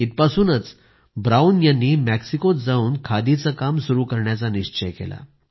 इथपासूनच Brown यांनी मेक्सिकोत जाऊन खादीचं काम सुरू करायचा निश्चय केला